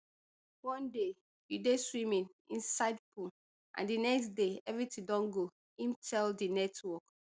one day you dey swimming inside pool and di next day everytin don go im tell di network